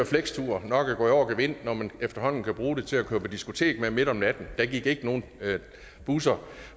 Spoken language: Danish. flexturene nok er gået over gevind når man efterhånden kan bruge dem til at køre på diskotek med midt om natten der gik ikke nogen busser